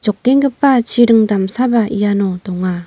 jokenggipa chiring damsaba iano donga.